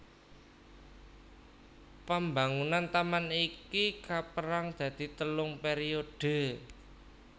Pambangunan taman iki kapérang dadi telung pèriodhe